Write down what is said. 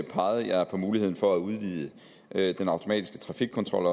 pegede jeg på muligheden for at udvide den automatiske trafikkontrol